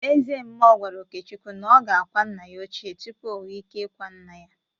Ezemmụọ gwara Okechukwu na ọ ga-akwa nna ya ochie tupu ọ nwe ike ikwa nna ya!